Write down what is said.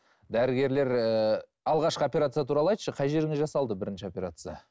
дәрігерлер ііі алғашқы операция туралы айтшы қай жеріңе жасалды бірінші операция